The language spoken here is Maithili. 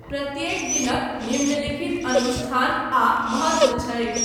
प्रत्येक दिनक निम्नलिखित अनुष्ठान आ महत्व छैक।